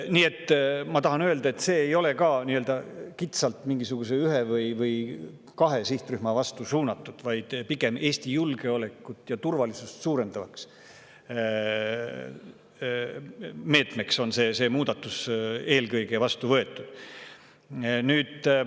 Nii et ma tahan öelda, et see muudatus ei ole kitsalt mingisuguse ühe või kahe sihtrühma vastu suunatud, vaid see on eelkõige Eesti julgeolekut ja turvalisust suurendava meetmena vastu võetud.